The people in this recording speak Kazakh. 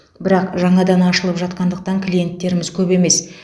бірақ жаңадан ашылып жатқандықтан клиенттеріміз көп емес